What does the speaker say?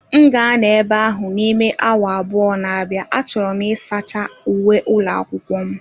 M ga-anọ ebe ahụ n'ime awa abụọ na-abịa, achọrọ m ịsacha uwe ụlọ akwụkwọ m